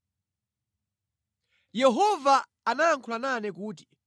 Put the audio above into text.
Yehova anayankhula nane kuti,